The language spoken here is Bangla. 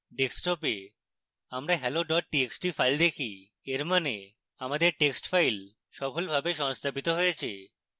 ডেস্কটপে আমরা hello txt file দেখি এর মানে আমাদের টেক্সট file সফলভাবে সংরক্ষিত হয়েছে